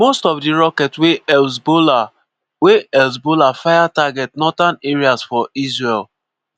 most of di rockets wey hezbollah wey hezbollah fire target northern areas for israel.